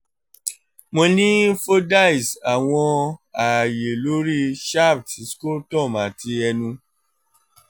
mo ni fordyce awọn aaye lori shaft scrotum ati ẹnu